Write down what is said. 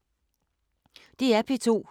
DR P2